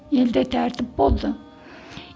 елді тәртіп болды